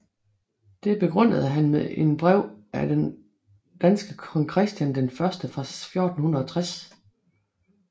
Det begrundede han med en brev af den danske kong Christian den første fra 1460